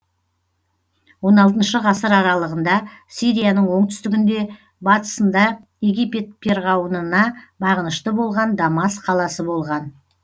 он алтыншы ғасыр аралығында сирияның оңтүстігінде батысында египет перғауынына бағынышты болған дамас қаласы болған